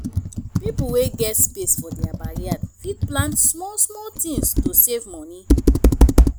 pipo wey get space for their backyard fit plant small small things to save money